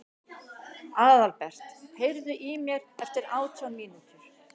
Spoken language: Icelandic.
Aðalbert, heyrðu í mér eftir átján mínútur.